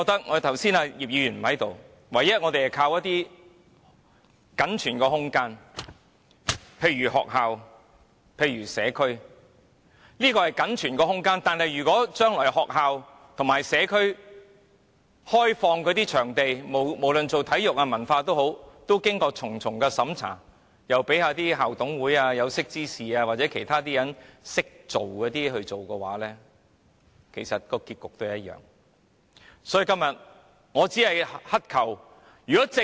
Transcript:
我們唯一可以依靠的僅存空間是學校和社區設施，但如果將來開放學校和社區場地作體育或文化用途時，仍要經過重重審查，讓那些甚麼校董會、有識之士或其他識時務人士負責批核，結局其實只會一樣。